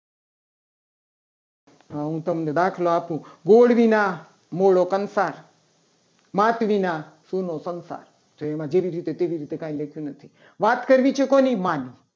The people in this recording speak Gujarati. આ હું તમને દાખલો આપું. ગુવાદ વિના મોળો કંસાર માત વિના સુનો સંસાર તો એમાં જેવી રીતે તેવી રીતે કઈ નથી. વાત કરવી છે. કોની માત